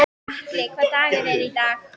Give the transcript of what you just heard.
Atli, hvaða dagur er í dag?